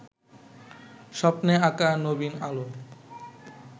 স্বপ্নে আঁকা নবীন আলো